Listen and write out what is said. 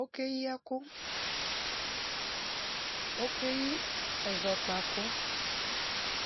Okeyi ɛkʋ, okeyi ɛzɔkpa kʋ,